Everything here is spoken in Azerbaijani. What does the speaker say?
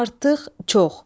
Artıq, çox.